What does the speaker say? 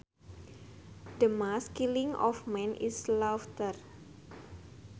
The mass killing of men is slaughter